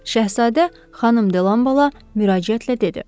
Şahzadə xanım De Lanbalala müraciətlə dedi.